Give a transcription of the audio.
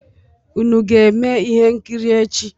Unu ga-eme ihe nkiri echi?